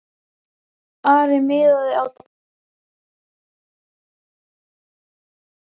Ari miðaði á Daða sem var tilsýndar mestur á velli.